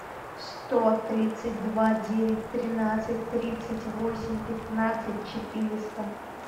сто тридцать два девять тринадцать тридцать восемь пятнадцать четыреста